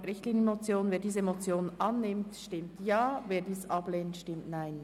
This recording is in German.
Wer die Motion annimmt, stimmt Ja, wer diese ablehnt, stimmt Nein.